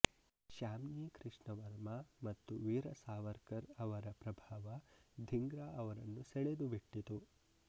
ಶ್ಯಾಮ್ಜಿ ಕೃಷ್ಣ ವರ್ಮ ಮತ್ತು ವೀರ ಸಾವರ್ಕರ್ ಅವರ ಪ್ರಭಾವ ಧಿಂಗ್ರ ಅವರನ್ನು ಸೆಳೆದುಬಿಟ್ಟಿತು